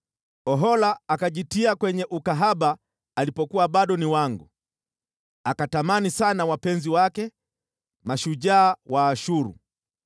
“Ohola akajitia kwenye ukahaba alipokuwa bado ni wangu, akatamani sana wapenzi wake, mashujaa Waashuru,